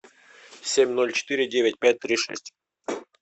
семь ноль четыре девять пять три шесть